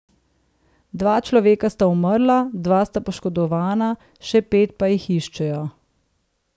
Dva človeka sta umrla, dva sta poškodovana, še pet pa jih iščejo.